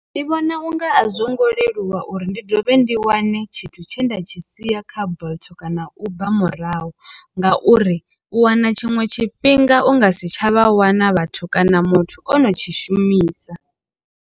Ndi vhona unga a zwo ngo leluwa uri ndi dovhe ndi wane tshithu tshe nda tshi sia kha bolt kana uber murahu ngauri u wana tshiṅwe tshifhinga u nga si tsha vha wana vhathu kana muthu o no tshi shumisa.